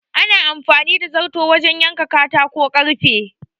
Ana amfani da zarto wajan yanke katako ko karfe